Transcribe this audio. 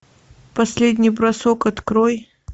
последний бросок открой